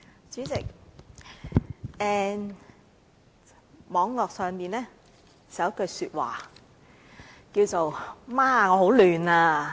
主席，網絡上有句話："媽，我很混亂啊！